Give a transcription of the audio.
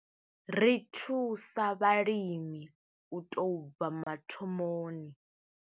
Ri thusa vhalimi u tou bva mathomoni.